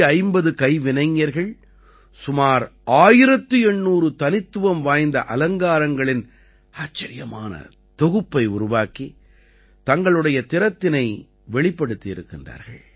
450 கைவினைஞர்கள் சுமார் 1800 தனித்துவம் வாய்ந்த அலங்காரங்களின் ஆச்சரியமான தொகுப்பை உருவாக்கி தங்களுடைய திறத்தினை வெளிப்படுத்தி இருக்கிறார்கள்